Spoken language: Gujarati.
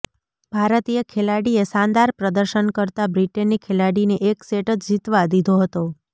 ભારતીય ખેલાડીએ શાનદાર પ્રદર્શન કરતા બ્રિટેનની ખેલાડીને એક સેટ જ જીતવા દીધો હતો